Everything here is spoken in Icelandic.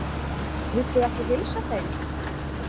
Viltu ekki heilsa þeim?